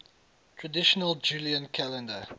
traditional julian calendar